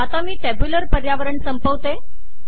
आता मी टॅब्यूलर पर्यावरण संपवते